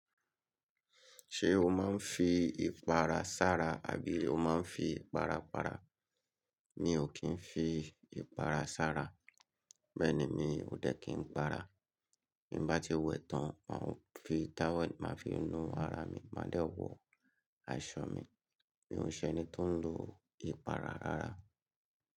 Ṣé o máa ń fi ìpara sára abí o máa ń fi ìpara para? Mi ò kí ń fi ìpara sára, bẹ́ẹ̀ ni, mi ò dẹ́ kì ń para. Bí n bá ti wẹ̀ tán máa ń fi táwelì máa fi nu ara mi, máa dè wọ aṣọ mi. Mi ò ṣe ẹni tó ń lo ìpara rárá.